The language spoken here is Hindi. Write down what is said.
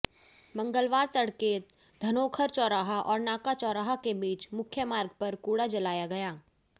मंगलवार तड़के धनोखर चौराहा और नाका चौराहा के बीच मुख्य मार्ग पर कूड़ा जलाया गया